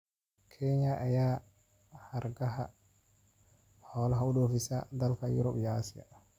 Kenya ayaa hargaha xoolaha u dhoofisa dalalka Yurub iyo Aasiya.